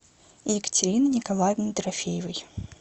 екатериной николаевной дорофеевой